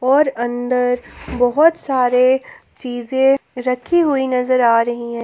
और अंदर बहोत सारे चीजें रखी हुई नजर आ रही हैं।